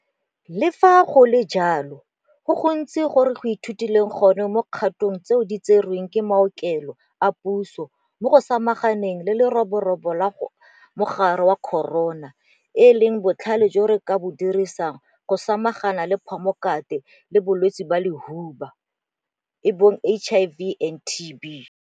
Le fa go le jalo, go gontsi go re go ithutileng gone mo dikgatong tseo di tserweng ke maokelo a puso mo go samaganeng le le-roborobo la mogare wa corona e leng botlhale jo re ka bo dirisang go samaganang le HIV le TB.